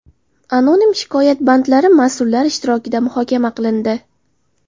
Anonim shikoyat bandlari mas’ullar ishtirokida muhokama qilindi.